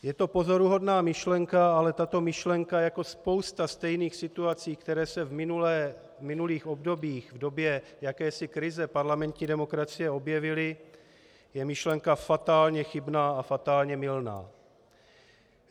Je to pozoruhodná myšlenka, ale tato myšlenka jako spousta stejných situací, které se v minulých obdobích v době jakési krize parlamentní demokracie objevily, je myšlenka fatálně chybná a fatálně mylná.